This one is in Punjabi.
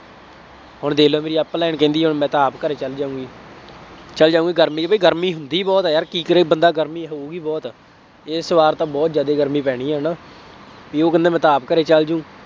ਹੁਣ ਦੇਖ ਲਾ ਮੇਰੀ online ਕਹਿੰਦੀ ਹੈ ਮੈਂ ਤਾਂ ਆਪ ਘਰੇ ਚੱਲ ਜਾਊਗੀ, ਚੱਲ ਜਾਊ ਗਰਮੀ ਅਤੇ ਗਰਮੀ ਹੁੰਦੀ ਬਹੁਤ ਹੈ ਯਾਰ, ਕੀ ਕਰੇ ਬੰਦਾ ਗਰਮੀ ਹੋ ਗਈ ਬਹੁਤ ਹੈ, ਇਸ ਵਾਰ ਤਾਂ ਬਹੁਤ ਜ਼ਿਆਦਾ ਗਰਮੀ ਪੈਣੀ ਹੈ ਨਾ, ਬਈ ਉਹ ਕਹਿੰਦੇ ਮੈਂ ਤਾਂ ਆਪ ਘਰੇ ਚੱਲਜ਼ੂ।